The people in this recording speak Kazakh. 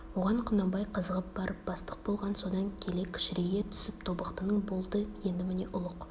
оған құнанбай қызығып барып бастық болған содан келе кішірейе түсіп тобықтының болды енді міне ұлық